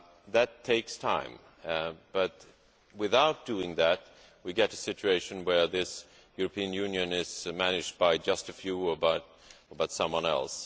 That takes time, but, without doing that, we get a situation where this European Union is managed by just a few or by someone else.